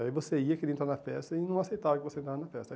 Aí você ia, queria entrar na festa e não aceitava que você entrasse na festa.